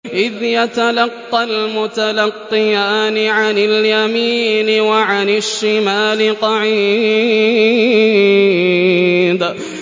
إِذْ يَتَلَقَّى الْمُتَلَقِّيَانِ عَنِ الْيَمِينِ وَعَنِ الشِّمَالِ قَعِيدٌ